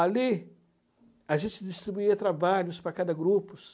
Ali a gente distribuía trabalhos para cada grupo.